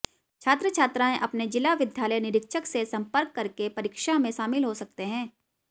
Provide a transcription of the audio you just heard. छात्र छात्राएं अपने जिला विद्यालय निरीक्षक से सम्पर्क करके परीक्षा में शामिल हो सकते हैं